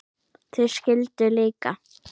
Þau skildu líka.